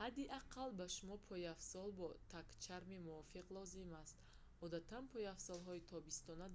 ҳадди аққал ба шумо пойафзол бо тагчарми мувофиқ лозим аст одатан пойафзолҳои тобистона